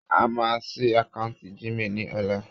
A máa ṣí akáǹtì Gmail ni ola